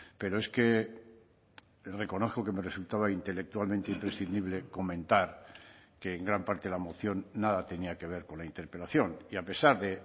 pero es que reconozco que me resultaba intelectualmente imprescindible comentar que en gran parte la moción nada tenía que ver con la interpelación y a pesar de